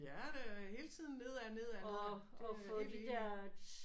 Ja det er hele tiden nedad nedad nedad. Det er jeg helt enig i